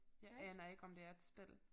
Jeg aner ikke om det er et spil